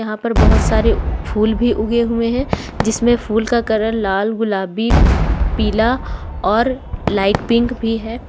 यहां पर बहोत सारे फूल भी उगे हुए हैं जिसमे फूल का कलर लाल गुलाबी पीला और लाइट पिंक भी है।